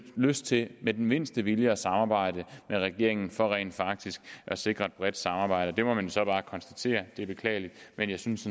lyst til med den mindste vilje at samarbejde med regeringen for rent faktisk at sikre et bredt samarbejde det må man så bare konstatere det er beklageligt men jeg synes